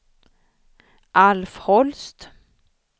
Alf Holst